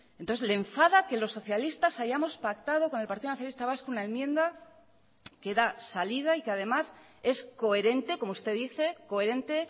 entonces le enfada que los socialistas hayamos pactado con el partido nacionalista vasco una enmienda que da salida y que además es coherente como usted dice coherente